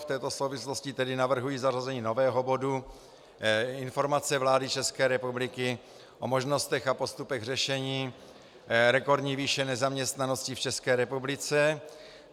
V této souvislosti tedy navrhuji zařazení nového bodu Informace vlády České republiky o možnostech a postupech řešení rekordní výše nezaměstnanosti v České republice.